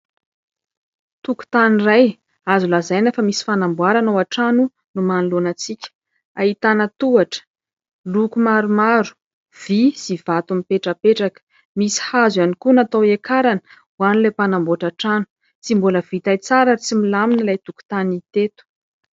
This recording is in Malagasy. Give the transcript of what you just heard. Tokotany iray, azo lazaina fa misy fanamboarana ao an-trano no manoloana antsika. Ahitana tohatra, loko maromaro, vy sy vato mipetrapetraka. Misy hazo ihany koa natao hiakarana ho an'ilay mpanamboatra trano. Tsy mbola vita tsara ary tsy milamina ilay tokotany teto.